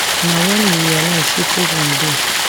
na wen we realise say problem dey